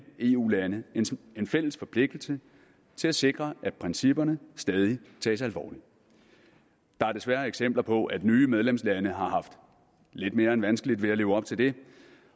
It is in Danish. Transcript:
eu lande en fælles forpligtelse til at sikre at principperne stadig tages alvorligt der er desværre eksempler på at nye medlemslande har haft lidt mere end vanskeligt ved at leve op til det